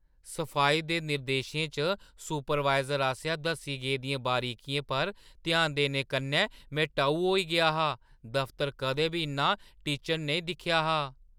सफाई दे निर्देशें च सुपरवाइज़र आसेआ दस्सी गेदियें बरीकियें पर ध्यान देने कन्नै में टऊ होई गेआ हा। दफतर कदें बी इन्ना टिचन नेईं दिक्खेआ हा!